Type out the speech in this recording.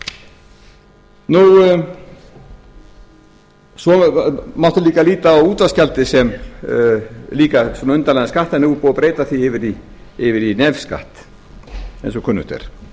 er ekki þjónustugjald svo mátti líka líta á útvarpsgjaldið sem undarlegan skatt en núna er búið að breyta því yfir í nefskatt eins og kunnugt er